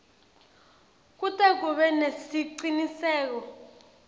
kute kube nesiciniseko